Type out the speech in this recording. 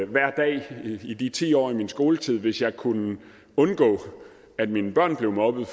hver dag i de ti år af min skoletid hvis jeg så kunne undgå at mine børn blev mobbet